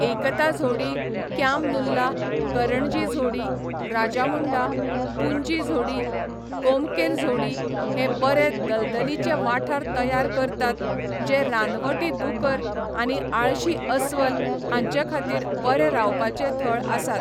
एकता झोडी, क्याम नुल्ला, करणजी झोडी, राजामुंडा, पुंजी झोडी, कोमकेल झोडी हे बरे दलदलीचे वाठार तयार करतात जे रानवटी दुकर आनी आळशी अस्वल हांचेखातीर बरे रावपाचे थळ आसात.